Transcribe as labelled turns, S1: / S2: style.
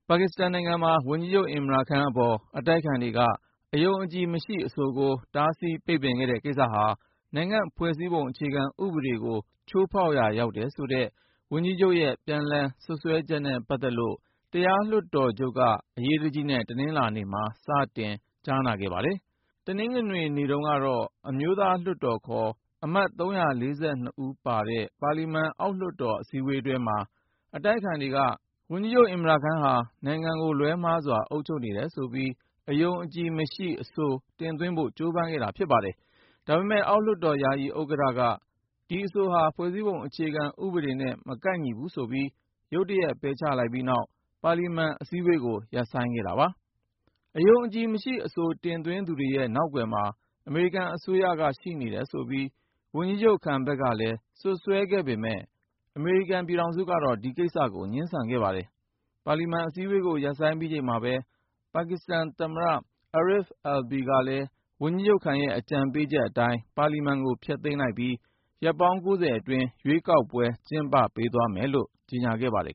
S1: ပါကစ္စတန်နိုင်ငံမှာ ဝန်ကြီးချုပ် Imran Khan အပေါ် အတိုက်အခံတွေက အယုံအကြည်မရှိအဆိုကို တားဆီးပိတ်ပင်ခဲ့တဲ့ ကိစ္စဟာ ၊ နိုင်ငံ့ ဖွဲ့စည်းပုံ အခြေခံဥပဒေကို ချိုးဖေါက်ရာရောက်တယ်ဆိုတဲ့ ဝန်ကြီးချုပ်ရဲ့ ပြန်လှန်စွဲချက်နဲ့ပတ်သက်ပြီး တရားလွှတ်တော်ချုပ်က အရေးတကြီးနဲ့ တနင်္လာနေ့မှာ စတင်ကြားနာခဲ့ပါတယ်။ တနင်္ဂနွေနေ့တုန်းကတော့ အမျိုးသားလွှတ်တော် ခေါ် အမတ်(၃၄၂)ပါတဲ့ ပါလီမန်အောက်လွှတ်တော် အထူးစည်းဝေးပွဲမှာ အတိုက်အခံတွေက ဝန်ကြီးချုပ် Imran Khan ဟာ နိုင်ငံကို လွဲမှားစွာ အုပ်ချုပ်နေတယ်ပြီး အယုံအကြည်မရှိ အဆို တင်သွင်းဖို့ ကြိုးပမ်းခဲ့တာ ဖြစ်ပါတယ်။ ဒါပေမဲ့ အောက်လွှတ်တော် ယာယီဥက္ကဌက ဒီအဆိုဟာ ဖွဲ့စည်းပုံအခြေခံဥပဒေနဲ့ မကိုက်ဘူးဆိုပြီး ရုတ်တရက် ပယ်ချပြီးနောက် ၊ ပါလီမန်အစည်းအဝေးကို ရပ်ဆိုင်းခဲ့တာပါ။ အယုံအကြည်မရှိ အဆိုတင်သွင်းသူတွေရဲ့ နောက်ကွယ်မှာ အမေရိကန်အစိုးရ ရှိနေတယ်ဆိုပြီး ဝန်ကြီးချုပ် Khan ဖက်ကလည်း ပြန်လည် စွပ်စွဲခဲ့မယ့် ၊ အမေရိကန်ပြည်ထောင်စုကတော့ ဒီကိစ္စကို ငြင်းဆန်ခဲ့ပါတယ်။ ပါလီမန် အစည်းအဝေးကို ရပ်ဆိုင်းပြီးချိန်မှာပဲ ပါကစ္စတန်သမ္မတ Arif Alvi ကလည်း ၊ ဝန်ကြီးချုပ်(ခန်)ရဲ့ အကြံပေးချက်အတိုင်း ပါလီမန်ကို ဖျက်သိမ်းလိုက်ပြီး ရက်ပေါင်း ၉၀ အတွင်း ရွေးကောက်ပွဲကျင်းပပေးသွားမယ်လို့ ကြေညာခဲ့ပါတယ်